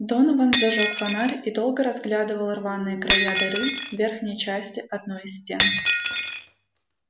донован зажёг фонарь и долго разглядывал рваные края дыры в верхней части одной из стен